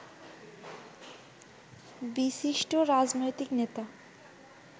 বিশিষ্ট রাজনৈতিক নেতা